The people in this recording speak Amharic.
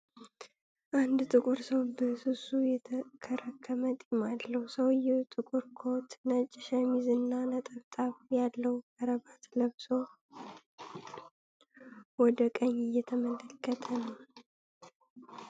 አንድ ጥቁር ሰው በስሱ የተከረከመ ጢም አለው። ሰውየው ጥቁር ኮት፣ ነጭ ሸሚዝ እና ነጠብጣብ ያለው ከረባት ለብሶ ወደ ቀኝ እየተመለከተ ነው።